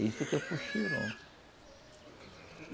Isso que é o puxirum.